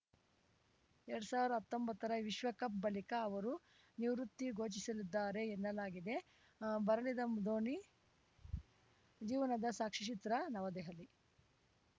ಎರಡ್ ಸಾವಿರ್ದಾ ಹತ್ತೊಂಬತ್ತರ ವಿಶ್ವಕಪ್‌ ಬಳಿಕ ಅವರು ನಿವೃತ್ತಿ ಘೋಷಿಸಲಿದ್ದಾರೆ ಎನ್ನಲಾಗಿದೆ ಬರಲಿದೆ ಧೋನಿ ಜೀವನದ ಸಾಕ್ಷ್ಯಚಿತ್ರ ನವದೆಹಲಿ